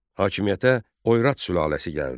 Hakimiyyətə Oyrat sülaləsi gəldi.